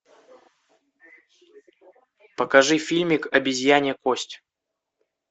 покажи фильмик обезьянья кость